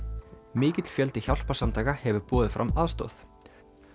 mikill fjöldi hjálparsamtaka hefur boðið fram aðstoð